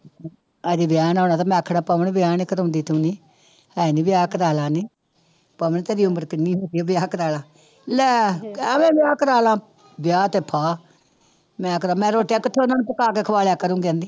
ਹਜੇ ਵਿਆਹ ਨੀ ਹੋਇਆ ਤੇ ਮੈਂ ਆਖਣਾ ਪਵਨ ਵਿਆਹ ਨੀ ਕਰਵਾਉਂਦੀ ਤੂੰ ਨੀ, ਹਾਏ ਨੀ ਵਿਆਹ ਕਰਵਾ ਲਾ ਨੀ ਪਵਨ ਤੇਰੀ ਉਮਰ ਕਿੰਨੀ ਹੋ ਗਈ ਆ ਵਿਆਹ ਕਰਵਾ ਲਾ, ਲੈ ਐਵੇਂ ਵਿਆਹ ਕਰਵਾ ਲਾ, ਵਿਆਹ ਤੇ ਫਾਹ ਮੈਂ ਕਰਾ, ਮੈਂ ਰੋਟੀਆਂ ਕਿੱਥੋਂ ਉਹਨਾਂ ਨੂੰ ਪਕਾ ਕੇ ਖਵਾ ਦਿਆ ਕਰੂੰ ਕਹਿੰਦੀ।